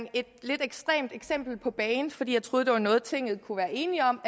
et lidt ekstremt eksempel på bane fordi jeg troede det var noget tinget kunne være enig om